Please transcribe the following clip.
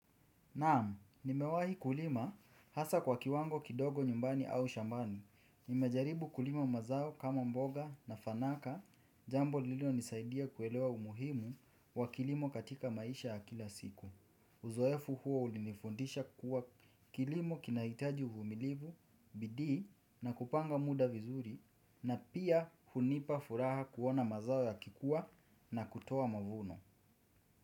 Naam nimewahi kulima hasa kwa kiwango kidogo nyumbani au shambani. Nimejaribu kulima mazao kama mboga na fanaka, jambo lililo nisaidia kuelewa umuhimu wa kilimo katika maisha ya kila siku. Uzoefu huo ulinifundisha kuwa kilimo kinahitaji uvumilivu, bidii na kupanga muda vizuri na pia hunipa furaha kuona mazao ya kikuwa na kutoa mavuno.